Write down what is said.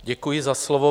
Děkuji za slovo.